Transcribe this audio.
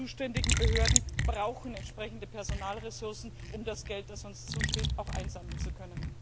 Die zuständigen Behörden brauchen entsprechende Personalressourcen, um das Geld, das uns zusteht, auch einziehen zu können.